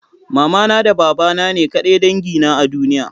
Mamana da babana ne ƙadai dangi na a duniya?